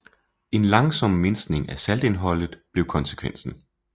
En langsom mindskning af saltindholdet blev konsekvensen